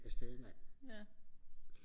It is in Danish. afsted mand